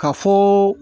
Ka fɔ